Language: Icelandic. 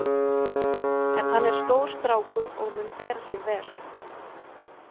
En hann er stór strákur og mun bera sig vel.